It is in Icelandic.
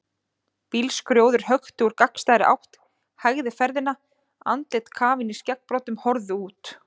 Bílskrjóður hökti úr gagnstæðri átt, hægði ferðina, andlit kafin í skeggbroddum horfðu út.